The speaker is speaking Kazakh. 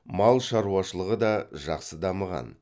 мал шаруашылығы да жақсы дамыған